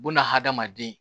Bunahadamaden